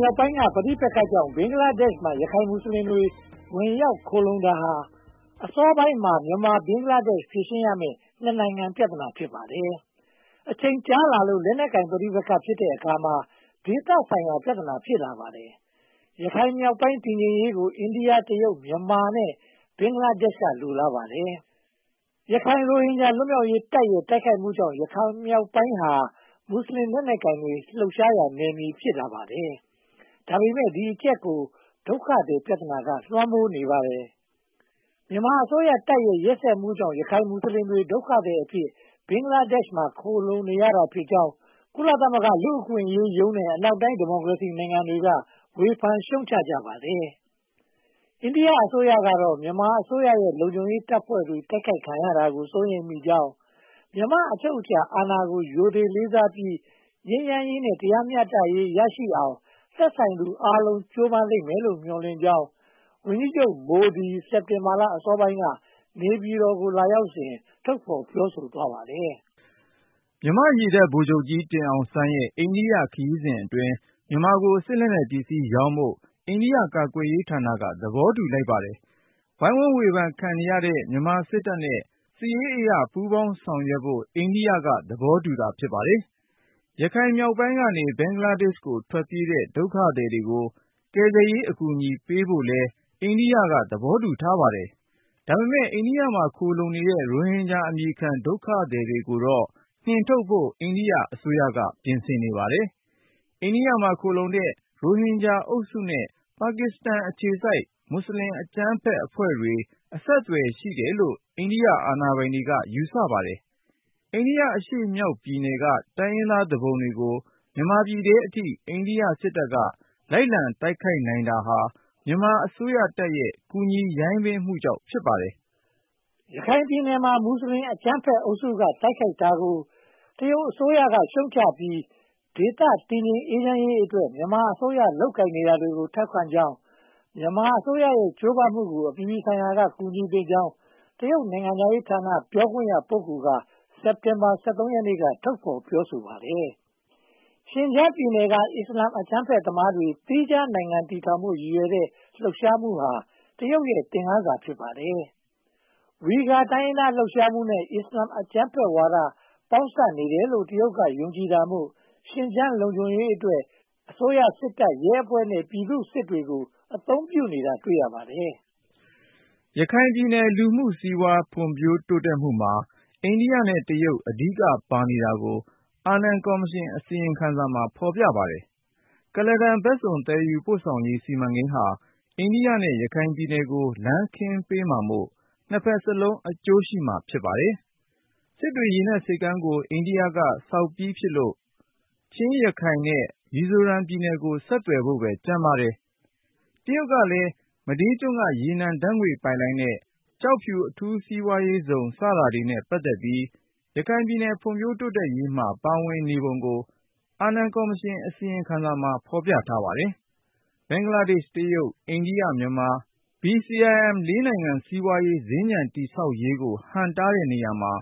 မြောက်ပိုင်းက ပဋိပက္ခကြောင့် ဘင်္ဂလားဒေ့ရှ်မှာ ရခိုင်မွတ်စလင်တွေ ဝင်ရောက်ခိုလှုံတာဟာ အစောပိုင်းမှာ မြန်မာနဲ့ဘင်္ဂလားဒေ့ရှ် ဖြေရှင်းရမယ့် နှစ်နိုင်ငံ ပြဿနာ ဖြစ်လာပါတယ်။ ရခိုင်မြောက်ပိုင်း တည်ငြိမ်အေးချမ်းရေးကို အိန္ဒိယ၊ တရုတ်၊ မြန်မာနဲ့ ဘင်္ဂလားဒေ့ရှ်က လိုလားပါတယ်။ ရခိုင်ရိုဟင်ဂျာ လွတ်မြောက်ရေးတပ်ရဲ့ တိုက်ခိုက်မှုကြောင့် ရခိုင်မြောက်ပိုင်းဟာ မွတ်စလင်လက်နက်ကိုင်တွေ လှုပ်ရှားတဲ့ နယ်မြေ ဖြစ်လာပါတယ်။ ဒါပေမဲ့ ဒီအချက်ကို ဒုက္ခသည်ပြဿနာက လွှမ်းမိုးနေပါတယ်။ မြန်မာအစိုးရတပ်ရဲ့ ရက်စက်မှုကြောင့် ရခိုင်မွတ်စလင်တွေ ဒုက္ခသည်အဖြစ် ဘင်္ဂလားဒေ့ရှ်မှာ ခိုလှုံနေကြရတာဖြစ်ကြောင်း ကုလသမဂ္ဂ လူ့အခွင့်အရေးရုံးနဲ့ အနောက်တိုင်း ဒီမိုကရေစီနိုင်ငံတွေက ဝေဖန်ရှုတ်ချကြပါတယ်။ အိန္ဒိယအစိုးရကတော့ မြန်မာအစိုးရရဲ့ လုံခြုံရေးတပ်ဖွဲ့တွေ တိုက်ခိုက်ခံရတာကို စိုးရိမ်မိကြောင်း၊ မြန်မာ့အချုပ်အချာအာဏာကို ရိုသေလေးစားပြီး ငြိမ်းချမ်းရေးနဲ့ တရားမျှတရေးရရှိအောင် သက်ဆိုင်သူအားလုံး ကြိုးပမ်းမယ်လို့ မျှော်လင့်ကြောင်း ဝန်ကြီးချုပ်မိုဒီ စက်တင်ဘာလ အစောပိုင်းက နေပြည်တော်ကို လာရောက်စဉ် ထုတ်ဖော်ပြောဆိုသွားပါတယ်။ မြန်မာ့ရေတပ်ဗိုလ်ချုပ်ကြီးတင်အောင်စန်းရဲ့ အိန္ဒိယခရီးအတွင်း မြန်မာကို စစ်လက်နက်ပစ္စည်းရောင်းဖို့ အိန္ဒိယကာကွယ်ရေးဌာနက သဘောတူလိုက်ပါတယ်။ ဝိုင်းဝန်းဝေဖန်ခံနေရတဲ့ မြန်မာစစ်တပ်နဲ့ စစ်ရေးအရ ပူးပေါင်းဆောင်ရွက်ဖို့ အိန္ဒိယက သဘောတူတာ ဖြစ်ပါတယ်။ ရခိုင်မြောက်ပိုင်းက ဘင်္ဂလားဒေ့ရှ်ကို ထွက်ပြေးတဲ့ ဒုက္ခသည်တွေကို ကယ်ဆယ်အကူအညီပေးဖို့လည်း အိန္ဒိယက သဘောတူထားပါတယ်။ ဒါပေမဲ့ အိန္ဒိယမှာ ခိုလှုံနေတဲ့ ရိုဟင်ဂျာအမည်ခံ ဒုက္ခသည်တွေကိုတော့ နှင်ထုတ်ဖို့ အိန္ဒိယအစိုးရက ပြင်ဆင်နေပါတယ်။ အိန္ဒိယမှာ ခိုလှုံနေတဲ့ ရိုဟင်ဂျာအုပ်စုနဲ့ ပါကစ္စတန်အခြေစိုက် မွတ်စလင်အကြမ်းဖက်အဖွဲ့တွေ အဆက်အသွယ်ရှိတယ်လို့ အိန္ဒိယအာဏာပိုင်တွေက ယူဆပါတယ်။ အိန္ဒိယအရှေ့မြောက်ပိုင်းက တိုင်းရင်းသားသူပုန်တွေကို မြန်မာပြည်ထဲအထိ အိန္ဒိယစစ်တပ်က လိုက်လံတိုက်ခိုက်နိုင်တာဟာ မြန်မာအစိုးရတပ်ရဲ့ ကူညီရိုင်းပင်းမှုကြောင့် ဖြစ်ပါတယ်။ ရခိုင်ပြည်နယ်မှာ မွတ်စလင်အကြမ်းဖက်အုပ်စုက တိုက်ခိုက်တာကို တရုတ်အစိုးရက ရှုတ်ချပြီး ဒေသတည်ငြိမ်အေးချမ်းရေးအတွက် မြန်မာအစိုးရ လုပ်ကိုင်နေတာတွေကို ထောက်ခံကြောင်း၊ မြန်မာအစိုးရရဲ့ ကြိုးပမ်းမှုကို အပြည်ပြည်ဆိုင်ရာက ကူညီသင့်ကြောင်း တရုတ်နိုင်ငံခြားရေးဌာန ပြောခွင့်ရပုဂ္ဂိုလ်က စက်တင်ဘာလ (၁၃) ရက်နေ့က ထုတ်ဖော်ပြောဆိုပါတယ်။ ရှင်းဂျန်ပြည်နယ်က အစ္စလာမ်အကြမ်းဖက်သမားတွေ သီးခြားနိုင်ငံ တည်ထောင်ဖို့ ရည်ရွယ်တဲ့လှုပ်ရှားမှုဟာ တရုတ်ရဲ့ သင်ခန်းစာ ဖြစ်နေပါတယ်။ ဝီဂါ တိုင်းရင်းသားလှုပ်ရှားမှုနဲ့ အစ္စလာမ်အကြမ်းဖက်ဝါဒ ပေါင်းစပ်နေတယ်လို့ တရုတ်က ယုံကြည်တာမို့ ရှင်းဂျန်လုံခြုံရေးအတွက် အစိုးရစစ်တပ်၊ ရဲအဖွဲ့ နဲ့ ပြည်သူ့စစ်တွေကို အသုံးပြုတာ တွေ့ရပါတယ်။ ရခိုင်ပြည်နယ် လူမှုစီးပွားရေး ဖွံ့ဖြိုးတိုးတက်မှုမှာ အိန္ဒိယနဲ့ တရုတ် အဓိကပါနေတာကို အာနန်ကော်မရှင်အစီရင်ခံစာ ဖော်ပြပါတယ်။ ကလာဒန်ဘက်စုံ သယ်ယူပို့ဆောင်ရေးစီမံကိန်းဟာ အိန္ဒိယနဲ့ ရခိုင်ပြည်နယ်ကို လမ်းခင်းပေးမှာမို့ နှစ်ဘက်စလုံး အကျိုးရှိမှာ ဖြစ်ပါတယ်။ စစ်တွေရေနက်ဆိပ်ကမ်းကို အိန္ဒိယက ဆောက်ပြီးဖြစ်လို့ ချင်း၊ ရခိုင် နဲ့ မီဇိုရမ် ပြည်နယ်ကို ဆက်သွယ်ဖို့ပဲ ကျန်ပါတော့တယ်။ တရုတ်ကလည်း မဒေးကျွန်းက ရေနံဓါတ်ငွေ့ပိုက်လိုင်းနဲ့ ကျောက်ဖြူအထူးစီးပွားရေးဇုန် စတာတွေနဲ့ ပတ်သက်ပြီး ရခိုင်ပြည်နယ် ဖွံ့ဖြိုးတိုးတက်ရေးမှာ ပါဝင်နေပုံကို အာနန်ကော်မရှင်အစီရင်ခံစာမှာ ဖော်ပြထားပါတယ်။ ဘင်္ဂလားဒေ့ရှ်၊ တရုတ်၊ အိန္ဒိယ၊ မြန်မာ၊ BCIM (၄) နိုင်ငံ စီးပွားရေးစင်္ကြန် တည်ဆောက်ရေးကို ဟန့်တားတဲ့နေရာမှာ